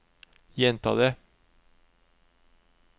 gjenta det